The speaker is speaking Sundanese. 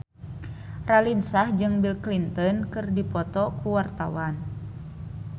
Raline Shah jeung Bill Clinton keur dipoto ku wartawan